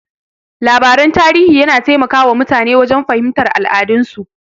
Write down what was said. Labaran tarihi yana taimaka wa mutane wajen fahimtar al'adun su.